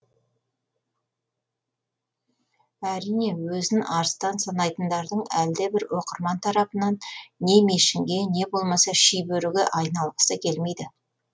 әрине өзін арыстан санайтындардың әлдебір оқырман тарапынан не мешінге не болмаса шибөріге айналғысы келмейді